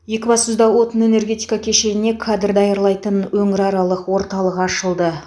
екібастұзда отын энергетика кешеніне кадр даярлайтын өңіраралық орталық ашылды